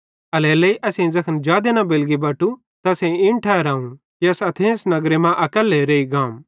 एल्हेरेलेइ ज़ैखन असेईं जादे न बेलगी बटू त असेईं इन ठहराव कि अस एथेंस नगरे मां अकैल्ले रेइ गाम